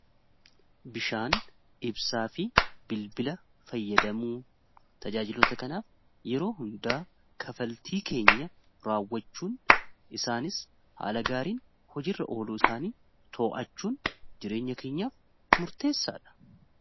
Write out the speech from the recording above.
bishaan ibsaa fi bilbila fayyadamuu tajaajilota kanaaf yeroo hundaa kafaltii keenya raawwachuun isaanis haala gaariin hojiirra oluu isaanii to''achuun jireenya keenyaaf murteessaa dha